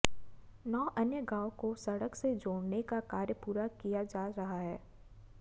नौ अन्य गांव को सड़क से जोड़ने का कार्य पूरा किया जा रहा है